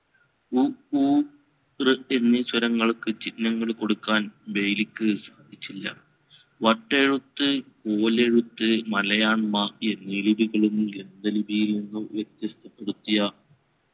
ഉ ഊ ഋ എന്നീ സ്വരങ്ങൾക് ചിഹ്നങ്ങൾ കൊടുക്കാൻ ബെയ്‌ലിക്ക് സാധിച്ചില്ല. വട്ടെഴുത്ത് കോലെഴുത്ത് മലയാൻ മാഫി എന്നി ലിപികളും ഗ്രന്ഥ ലിപിയിൽ നിന്നും വ്യത്യസ്തപ്പെടുത്തിയ